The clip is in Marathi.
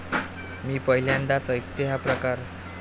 मी पहिल्यांदाच ऐकतेय हा प्रकार.